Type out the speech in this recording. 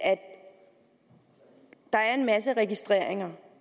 at der er en masse registreringer